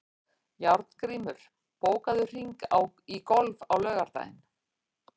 Járngrímur, bókaðu hring í golf á laugardaginn.